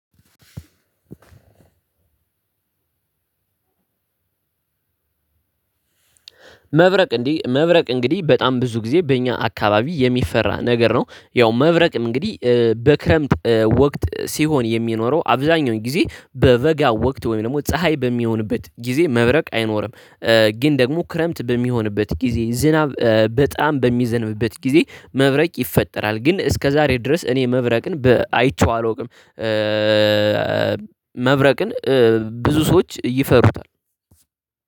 መብረቅ እንዲህ መብረቅ እንግዲህ በጣም ብዙ ጊዜ በእኛ አካባቢ የሚፈራ ነገር ነው። ያው መብረቅ እንግዲህ በክረምት ወቅት ሲሆን የሚኖረው አብዛኛው ጊዜ በበጋ ወቅት ወይም ደግሞ ፀሀይ በሚሆንበት ጊዜ መብረቅ አይኖርም። ግን ደግሞ ክረምት በሚሆንበት ጊዜ ዝናብ በጣም በሚዘንብበት ጊዜ መብረቅ ይፈጠራል። ግን እስከዛሬ ድረስ እኔ መብረቅን አይቼው አላውቅም። መብረቅን ብዙ ሰዎች ይፈሩታል